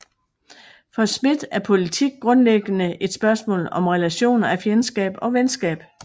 For Schmitt er politik grundlæggende et spørgsmål om relationer af fjendskab og venskab